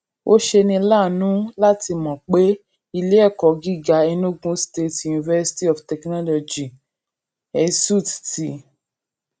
ó ṣeni láàánú láti mò pé ilé èkó gíga enugu state university of technology esut ti